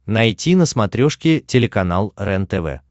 найти на смотрешке телеканал рентв